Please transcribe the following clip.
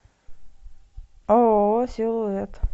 ооо силуэт